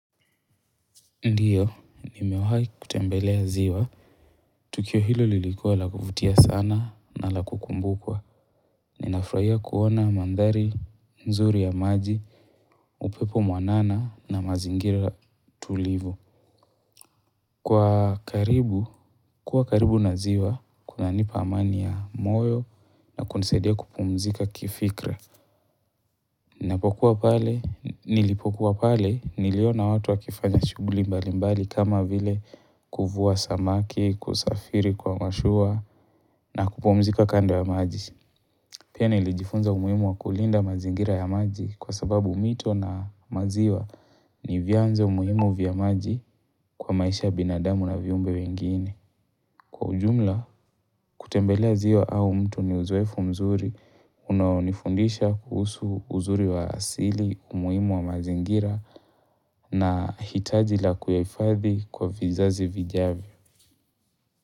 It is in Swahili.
Ndiyo, nimewahai kutembelea ziwa. Tukio hilo lilikuwa lakuvutia sana na lakukumbukwa. Ninafuraia kuona mandari, mzuri ya maji, upepo mwanana na mazingira tulivu. Kwa karibu, kuwa karibu na ziwa, kuna nipa amani ya moyo na kunesedia kupumzika kifikra. Napokuwa pale, nilipokuwa pale, niliona watu wa kifanya shuguli mbali mbali kama vile kufuwa samaki, kusafiri kwa mashua na kupomzika kando ya maji. Piene ilijifunza umuimu wa kulinda mazingira ya maji kwa sababu mito na maziwa ni vyanzo umuimu vya maji kwa maisha binadamu na viumbe wengine. Kwa ujumla, kutembelea ziwa au mto ni uzoefu mzuri, unaonifundisha kuhusu uzuri wa asili, umuhimu wa mazingira na hitaji la kuyahifadhi kwa vizazi vijavyo.